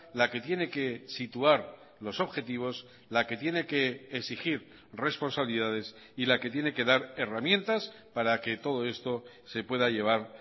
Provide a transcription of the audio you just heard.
la que tiene que situar los objetivos la que tiene que exigir responsabilidades y la que tiene que dar herramientas para que todo esto se pueda llevar